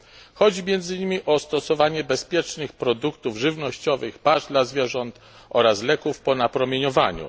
Chodzi między innymi o stosowanie bezpiecznych produktów żywnościowych, pasz dla zwierząt oraz leków po napromieniowaniu.